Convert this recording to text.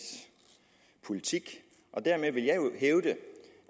politik og dermed vil jeg jo hævde